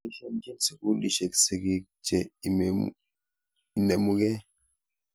Poisyenchin sukulisyek sigik che inemu kei.